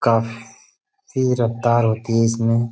काफ फ़ी रफ्तार होती है इसमें --